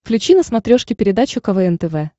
включи на смотрешке передачу квн тв